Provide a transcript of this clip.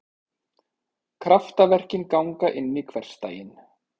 Kraftaverkin ganga inn í hversdaginn.